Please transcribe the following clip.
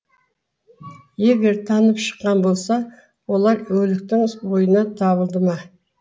егер танып шыққан болса олар өліктің бойынан табылды ма